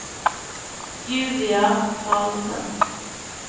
Julia Carlsen